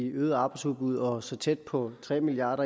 øget arbejdsudbud og så tæt på tre milliard